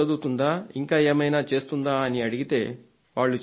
ఇంకా ఏమైనా చేస్తుందా అని అడిగితే వాళ్లు చెప్పారు